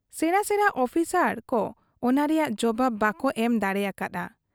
ᱥᱮᱬᱟ ᱥᱮᱬᱟ ᱚᱯᱷᱤᱥᱟᱨ ᱠᱚ ᱚᱱᱟ ᱨᱮᱭᱟᱝ ᱡᱚᱵᱟᱵᱽ ᱵᱟᱠᱚ ᱮᱢ ᱫᱟᱲᱮᱭᱟᱠᱟ ᱦᱟᱫ ᱟ ᱾